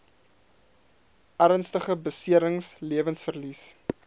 ernstige beserings lewensverlies